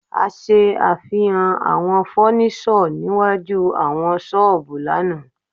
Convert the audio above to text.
A ṣe àfihàn àwọn fọ́níṣọ̀ síwájú àwọn ṣọ́ọ̀bù náà.